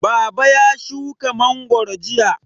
Baba ya shuka mangwaro jiya.